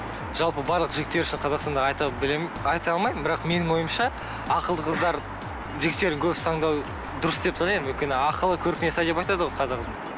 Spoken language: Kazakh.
жалпы барлық жігіттер үшін қазақстанда айта алмаймын бірақ менің ойымша ақылды қыздар жігіттердің көбісі таңдау дұрыс деп санаймын өйткені ақылы көркіне сай деп айтады ғой қазағым